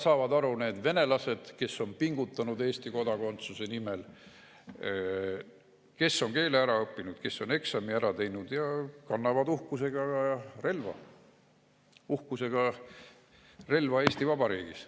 Saavad aru ka need venelased, kes on pingutanud Eesti kodakondsuse nimel, kes on keele ära õppinud, kes on eksami ära teinud ja kannavad uhkusega relva Eesti Vabariigis.